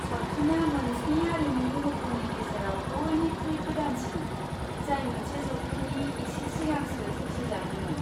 सावथुना मोनस्नि आरिमु महरफोरनि गेजेराव बइनिख्रुइ गोदानसिन, जाय मोनसे जौथायनि एसे सिगांसो सोरजिजादोंमोन।